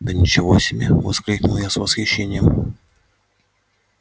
да ничего себе воскликнул я с восхищением